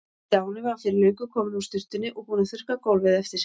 Stjáni var fyrir löngu kominn úr sturtunni og búinn að þurrka gólfið eftir sig.